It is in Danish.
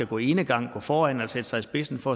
gå enegang gå foran og sætte sig i spidsen for